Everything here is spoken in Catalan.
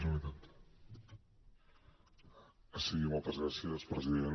sí moltes gràcies president